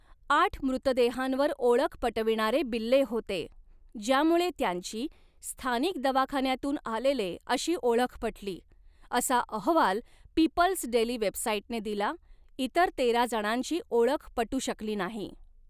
आठ मृतदेहांवर ओळख पटविणारे बिल्ले होते, ज्यामुळे त्यांची 'स्थानिक दवाखान्यातून आलेले' अशी ओळख पटली, असा अहवाल पीपल्स डेली वेबसाइटने दिला, इतर तेरा जणांची ओळख पटू शकली नाही.